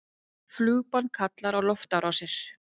Flugbann kallar á loftárásir